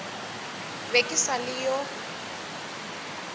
be ke sa le yo